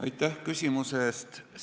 Aitäh küsimuse eest!